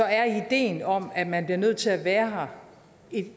er ideen om at man bliver nødt til at være her